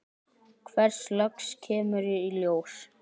Hvers lags kemur í ljós.